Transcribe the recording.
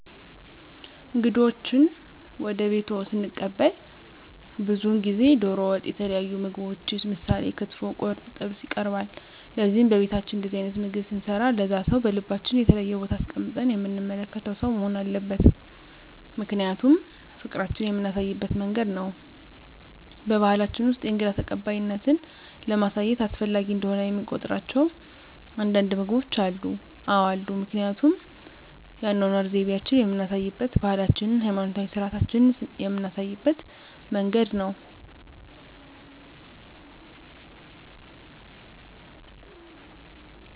እንግዶችዎን ወደ ቤትዎ ስንቀበል ብዙውን ጊዜ ደሮ ወጥ የተለያዩ ምግቦች ምሳሌ ክትፎ ቁርጥ ጥብስ ይቀርባል ለዚህም በቤታችን እንደዚህ አይነት ምግብ ስንሰራ ለዛ ሰው በልባችን የተለየ ቦታ አስቀምጠን የምንመለከተው ሰው መሆን አለበት ምክንያቱም ፍቅራችን የምናሳይበት መንገድ ነው በባሕላችን ውስጥ የእንግዳ ተቀባይነትን ለማሳየት አስፈላጊ እንደሆነ የሚቆጥሯቸው አንዳንድ ምግቦች አሉ? አዎ አሉ ምክንያቱም የአኗኗር ዘይቤአችንን የምናሳይበት ባህላችንን ሀይማኖታዊ ስርአቶቻችንን ምናሳይበት መንገድ ነው